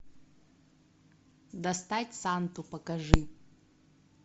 достать санту покажи